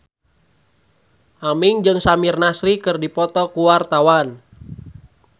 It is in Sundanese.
Aming jeung Samir Nasri keur dipoto ku wartawan